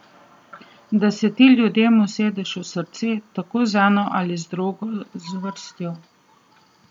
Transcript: Da se ti ljudem usedeš v srce tako z eno ali drugo zvrstjo.